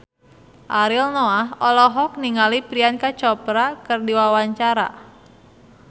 Ariel Noah olohok ningali Priyanka Chopra keur diwawancara